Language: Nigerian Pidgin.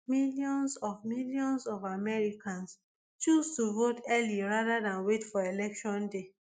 millions of millions of americans choose to vote early rather dan wait for election day